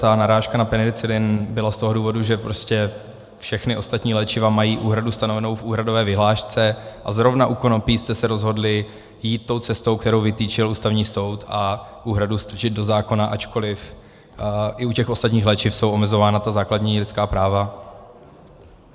Ta narážka na penicilin byla z toho důvodu, že prostě všechna ostatní léčiva mají úhradu stanovenou v úhradové vyhlášce a zrovna u konopí jste se rozhodli jít tou cestou, kterou vytyčil Ústavní soud, a úhradu strčit do zákona, ačkoliv i u těch ostatních léčiv jsou omezována ta základní lidská práva.